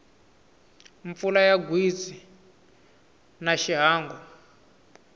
mpfula ya gwitsi a xiangu